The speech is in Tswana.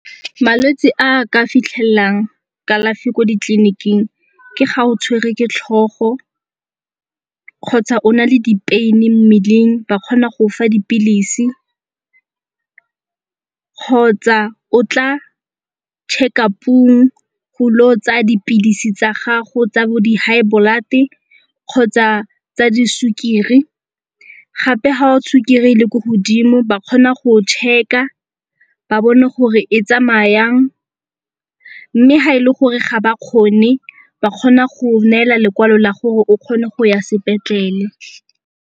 Malwetse a a ka fitlhelang kalafi ko ditleliniking ke ga o tshwere ke tlhogo kgotsa o na le di-pain-e mmeleng ba kgona go fa dipilisi kgotsa o tla check-up-ong go lo tsaya dipilisi tsa gago tsa bo di high blood-e kgotsa tsa di sukiri. Gape ga sukiri e le ko godimo ba kgona go check-a ba bone gore e tsamaya jang mme ga e le gore ga ba kgone ba kgona go neela lekwalo la gore o kgone go ya sepetlele.